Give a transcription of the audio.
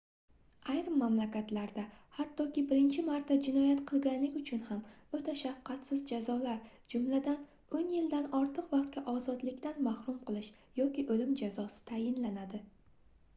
ayrim mamlakatlarda xattoki birinchi marta jinoyat qilganlik uchun ham oʻta shafqatsiz jazolar jumladan 10 yildan ortiq vaqtga ozodlikdan mahrum qilish yoki oʻlim jazosi tayinlanadi